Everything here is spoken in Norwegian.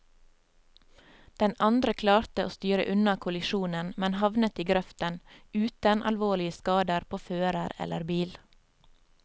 Den andre klarte å styre unna kollisjonen, men havnet i grøften uten alvorlige skader på fører eller bil.